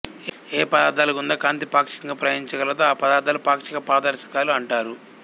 ఏ పదార్థాల గుందా కాంతి పాక్షికంగా ప్రయాణించగలదో ఆ పదార్థాలను పాక్షిక పారదర్శకాలు అంటారు